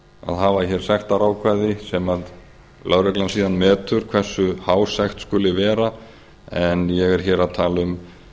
að hafa hér sektarákvæði sem lögreglan síðan metur hversu há sekt skuli vera en ég er hér að tala um